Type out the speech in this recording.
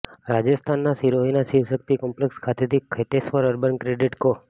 રાજસ્થાનના સિરોહીના શિવશક્તિ કોમ્પ્લેક્સ ખાતેથી ખેતેશ્વર અર્બન ક્રેડિટ કો